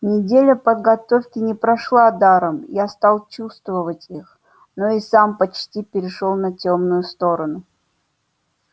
неделя подготовки не прошла даром я стал чувствовать их но и сам почти перешёл на тёмную сторону